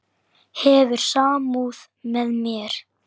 Hefur samúð með mér.